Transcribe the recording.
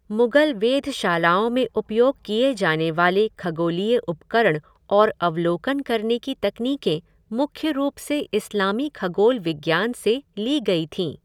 मुगल वेधशालाओं में उपयोग किए जाने वाले खगोलीय उपकरण और अवलोकन करने की तकनीकें मुख्य रूप से इस्लामी खगोल विज्ञान से ली गई थीं।